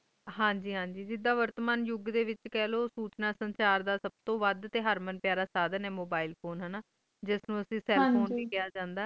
ਹਨ ਗ ਹਨ ਗ ਜਿਸ ਤ੍ਰਾਹ ਵਰਤਮਾਨ ਯੁਗ ਡੇ ਵਿਚ ਸੋਤਨਾਤ ਸਰਸ਼ਾਰ ਦਾ ਸਬ ਤੋਂ ਵੁੱਧ ਹਰਮਨ ਪਯਾਰਾ ਇਸ ਤ੍ਰਾਹ ਜਾਣੋ Mobile phone ਯਾ Cell phone ਵੀ ਕਿਹਾ ਜਾਂਦਾ